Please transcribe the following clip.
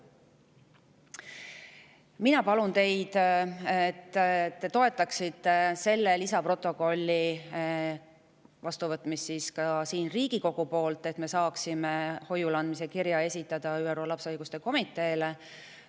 Mina palun teid, et te toetaksite selle lisaprotokolli vastuvõtmist siin Riigikogus, et me saaksime ÜRO lapse õiguste komiteele esitada hoiule andmiseks kirja.